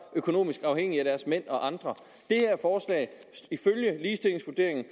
økonomisk afhængige af deres mænd og andre ifølge ligestillingsvurderingen af